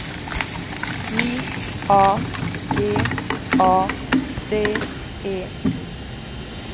J A G A D E